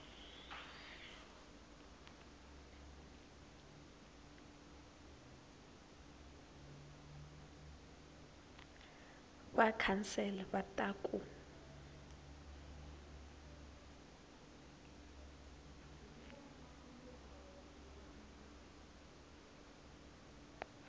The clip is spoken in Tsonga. va council va ta ku